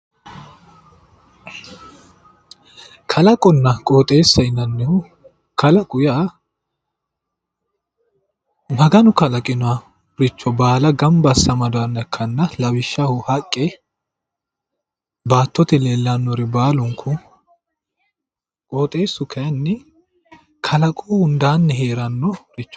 Kalaqonna qoxxeessa yinnannihu ,qalaqo yaa maganu kalaqinoricho baalla gamba asse amadinoha ikkanna lawishshaho haqqe baattote leelanori baalunku, qoxxeesu kayinni kalaqu hundani heeranoricho